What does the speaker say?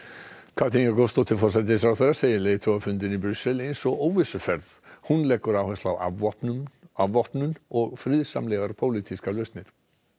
Katrín Jakobsdóttir forsætisráðherra segir leiðtogafundinn eins og óvissuferð hún leggur áherslu á afvopnun á afvopnun og friðsamlegar pólitískar lausnir